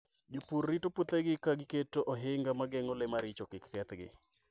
Jopur rito puothegi ka giketo ohinga ma geng'o le maricho kik kethgi.